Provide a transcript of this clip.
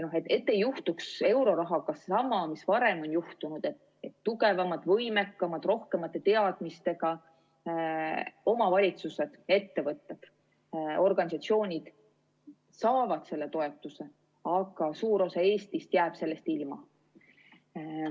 Et ei juhtuks eurorahaga sama, mis varem on juhtunud, et tugevamad, võimekamad, rohkemate teadmistega omavalitsused, ettevõtted, organisatsioonid saavad selle toetuse, aga suur osa Eestist jääb sellest ilma.